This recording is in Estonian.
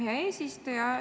Hea eesistuja!